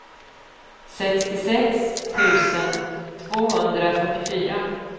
sextiosex tusen tvåhundrafyrtiofyra